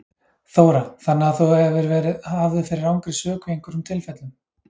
Þóra: Þannig að þú hefur verið hafður fyrir rangri sök í einhverjum tilfellum?